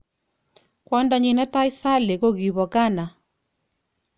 Kwondanyin netai Sally kokibo Ghana.